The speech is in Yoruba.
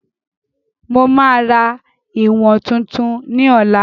Mo máa ra ìwọ̀n tuntun ni ọ̀la